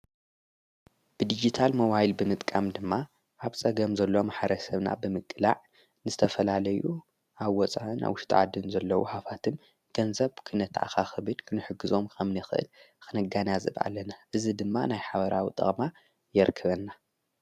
ብዲጊታል መዋይል ብምጥቃም ድማ ሃብፀገም ዘሎም ሓረሰብና ብምቅላዕ ንስተፈላለዩ ኣወፃን ኣውሽጣዓድን ዘለዉ ሃፋትም ገንዘብ ክነትኣኻ ኽብድ ክንሕግዞም ከምኒ ኽእል ኽነጋንዝብ ኣለና እዝ ድማ ናይ ሓበራዊ ጠቕማ የርክበና።